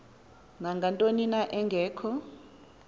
nangantoni na engekho